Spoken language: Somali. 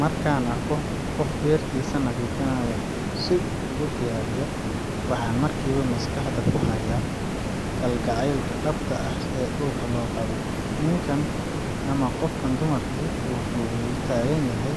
Marka aan arko qof beertiisa nadiifinaya si uu u diyaariyo, waxaan markiiba maskaxda ku hayaa kalgacaylka dhabta ah ee dhulka loo qabo. Ninkan ama qofkan wuxuu u taagan yahay